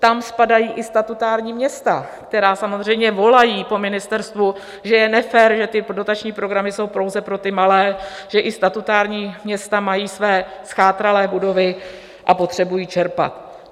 Tam spadají i statutární města, která samozřejmě volají po ministerstvu, že je nefér, že ty dotační programy jsou pouze pro ty malé, že i statutární města mají své zchátralé budovy a potřebují čerpat.